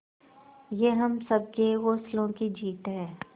ये हम सबके हौसलों की जीत है